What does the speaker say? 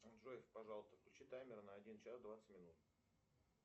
джой пожалуйста включи таймер на один час двадцать минут